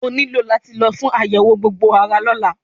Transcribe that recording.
O ní láti lọ fún àyẹ̀wò gbogbo ara lọ́la.